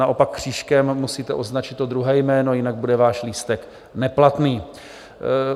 Naopak křížkem musíte označit to druhé jméno, jinak bude váš lístek neplatný.